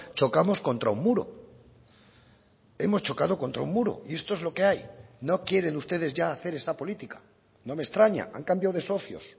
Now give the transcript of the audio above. chocamos contra un muro hemos chocado contra un muro y esto es lo que hay no quieren ustedes ya hacer esa política no me extraña han cambiado de socios